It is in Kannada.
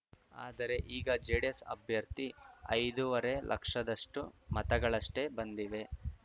ಆದರೆ ಈಗ ಜೆಡಿಎಸ್‌ ಅಭ್ಯರ್ಥಿ ಐದೂವರೆ ಲಕ್ಷದಷ್ಟುಮತಗಳಷ್ಟೇ ಬಂದಿವೆ